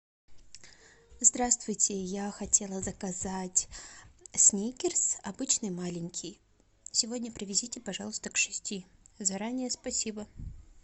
здравствуйте я хотела заказать сникерс обычный маленький сегодня привезите пожалуйста к шести заранее спасибо